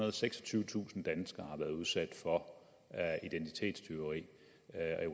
og seksogtyvetusind danskere har været udsat for identitetstyveri